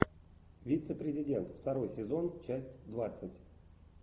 вице президент второй сезон часть двадцать